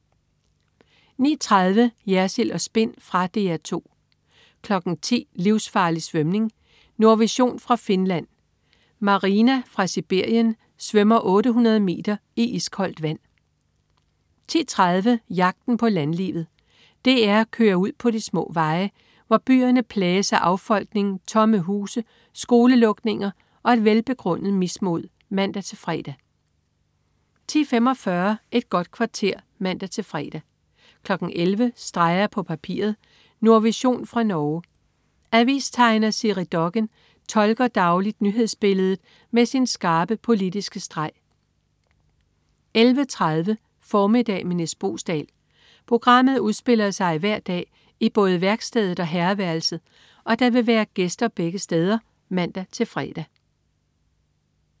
09.30 Jersild & Spin. Fra DR 2 10.00 Livsfarlig svømning. Nordvision fra Finland. Marina fra Sibirien svømmer 800 meter i iskoldt vand! 10.30 Jagten på landlivet. DR kører ud på de små veje, hvor byerne plages af affolkning, tomme huse, skolelukninger og et velbegrundet mismod (man-fre) 10.45 Et godt kvarter (man-fre) 11.00 Streger på papiret. Nordvision fra Norge. Avistegner Siri Dokken tolker dagligt nyhedsbilledet med sin skarpe, politiske streg 11.30 Formiddag med Nis Boesdal. Programmet udspiller sig hver dag i både værkstedet og herreværelset, og der vil være gæster begge steder (man-fre)